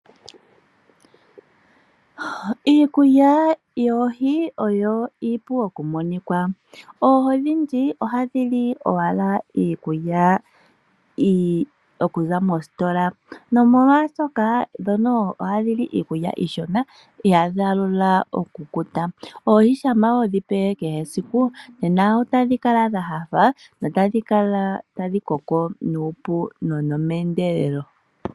Iikulya yoohi oyo iipu okumonika. Oohi odhindji ohadhi li owala iikulya okuza mositola. Oohi ohadhi li iikulya iishona dho ihadhi alula okukuta, shampa hodhi pe kehe esiku otadhi kala dha nyanyukwa notadhi koko meendelelo.